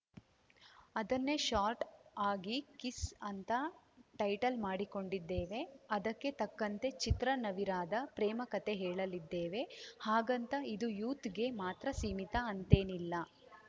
ಅದನ್ನೇ ಶಾರ್ಟ್‌ ಆಗಿ ಕಿಸ್‌ ಅಂತ ಟೈಟಲ್‌ ಮಾಡಿಕೊಂಡಿದ್ದೇವೆ ಅದಕ್ಕೆ ತಕ್ಕಂತೆ ಚಿತ್ರ ನವಿರಾದ ಪ್ರೇಮ ಕತೆ ಹೇಳಲಿದ್ದೇವೆ ಹಾಗಂತ ಇದು ಯೂತ್‌ಗೆ ಮಾತ್ರ ಸೀಮಿತ ಅಂತೇನಿಲ್ಲ